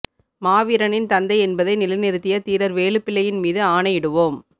மாவீரனின் தந்தை என்பதை நிலை நிறுத்திய தீரர் வேலுப்பிள்ளையின் மீது ஆணையிடுவோம்